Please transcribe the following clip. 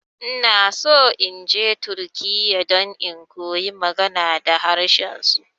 Inaso inje turkiya don in koyi magana da harshen su.